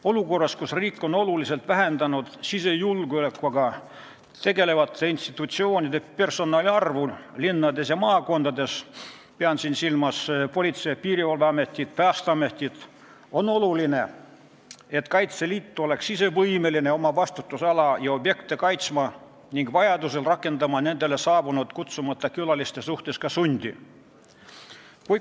Olukorras, kus riik on oluliselt vähendanud sisejulgeolekuga tegelevate institutsioonide personali linnades ja maakondades – pean siin silmas Politsei- ja Piirivalveametit ning Päästeametit –, on oluline, et Kaitseliit oleks ise võimeline oma vastutusala ja objekte kaitsma ning vajaduse korral rakendama kutsumata külaliste suhtes ka sundi.